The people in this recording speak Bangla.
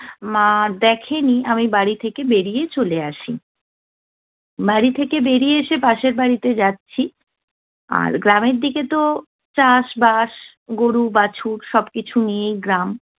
মা দেখেনি আমি বাড়ি থেকে বেরিয়ে চলে যাচ্ছি। বাড়ি থেকে বেরিয়ে এসে পাশের বাড়িতে যাচ্ছি, আর গ্রামের দিকে তো চাষ-বাস, গরু-বাছুর সবকিছু নিয়েই গ্রাম